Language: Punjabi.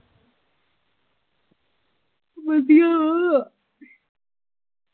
ਵਧੀਆ ਵਾ